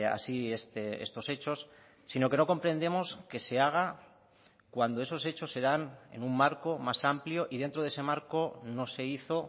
así estos hechos sino que no comprendemos que se haga cuando esos hechos se dan en un marco más amplio y dentro de ese marco no se hizo